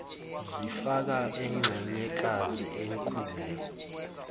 zifaka inxenyekazi enkule